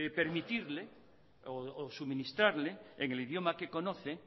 permitirle o suministrarle en el idioma que conoce